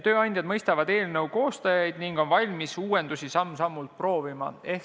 Tööandjad mõistavad eelnõu koostajaid ning on valmis uuendusi samm-sammult proovima.